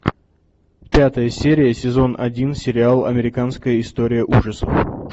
пятая серия сезон один сериал американская история ужасов